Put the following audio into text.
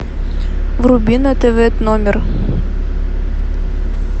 вруби на тв номер